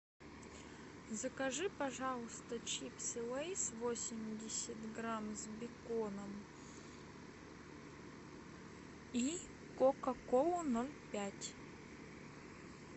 закажи пожалуйста чипсы лейс восемьдесят грамм с беконом и кока колу ноль пять